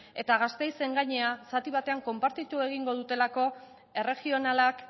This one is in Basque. eta gasteizen gainera zati batean konpartitu egingo dutelako erregionalak